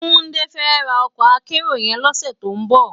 Tunde fè rá òkò ákèérò yèn lòsè tó n bò